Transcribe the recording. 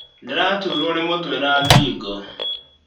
Ndĩratuurwo nĩ mũtwe na ngingo